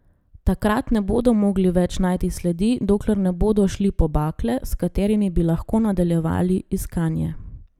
Takrat ne bodo mogli več najti sledi, dokler ne bodo šli po bakle, s katerimi bi lahko nadaljevali iskanje.